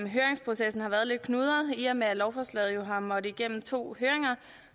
høringsprocessen har været lidt knudret i og med at lovforslaget jo har måttet igennem to høringer